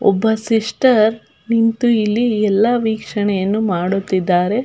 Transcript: ಒಬ sister ನಿಂತು ಇಲ್ಲಿ ಎಲ್ಲ ವೀಕ್ಷಣೆಯನ್ನು ಮಾಡುತ್ತಿದ್ದಾರೆ.